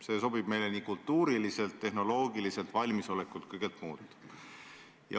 See sobib meile kultuuriliselt, tehnoloogiliselt valmisolekult ja kõigelt muult.